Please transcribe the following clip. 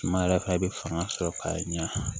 Suma yɛrɛ fɛ i bɛ fanga sɔrɔ k'a ɲa